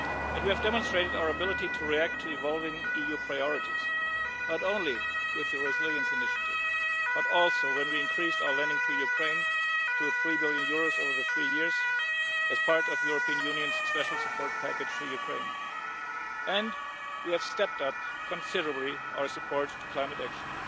We have demonstrated our ability to react to evolving EU priorities, not only with the Resilience Initiative but also when we increased our lending to Ukraine to EUR 3 billion over three years as part of the Union's special support package to Ukraine. And we have stepped up considerably our support for climate action.